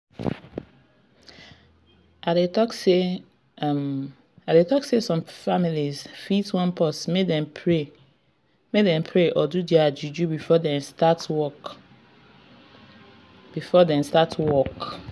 i dey talk say some families fit wan pause make dem pray or do their juju before dem start work